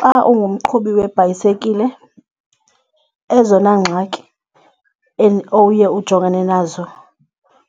Xa ungumqhubi webhayisikile ezona ngxaki owuye ujongane nazo